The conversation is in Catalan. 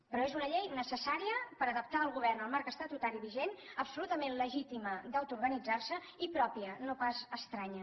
però és una llei necessària per adaptar el govern al marc estatutari vigent absolutament legítima d’autoorganitzar se i pròpia no pas estranya